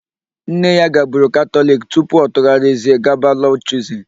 Nne ya gaburu Katọliki tupu ọ tụgharịzie gaba Lọd Chuzin.